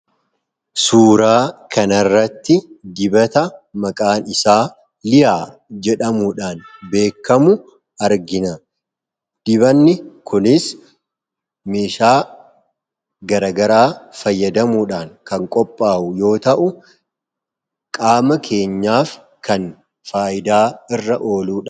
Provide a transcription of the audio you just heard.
Suuraa kana irratti dibata maqaan isaa Liyaa jedhamuudhaan beekamu argina. Dibanni kunis meeshaa garaa garaa fayyadamuudhaan kan qophaa'u yoota'u qaama keenyaaf kan faayidaa irra ooludha.